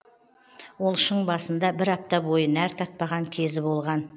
ол шың басында бір апта бойы нәр татпаған кезі болған